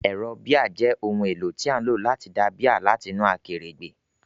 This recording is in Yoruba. Ẹ̀rọ bíà jẹ́ ohun èlò tí a ń lò láti da bíà láti inú akèrègbè.